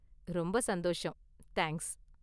ரொம்ப சந்தோஷம், தேங்க்ஸ்.